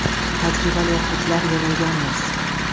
Tajribali o‘qituvchilar yig‘ilganmiz.